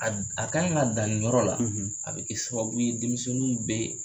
A d a kan ka dan nin yɔrɔ la a bɛ kɛ sababu ye denmisɛnniw bee